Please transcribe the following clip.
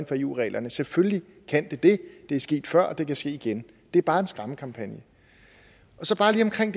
for eu reglerne selvfølgelig kan det det det er sket før og det kan ske igen det er bare en skræmmekampagne så bare lige omkring